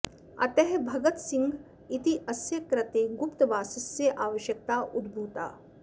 अतः भगत सिंह इत्यस्य कृते गुप्तवासस्य आवश्यकता उद्भूता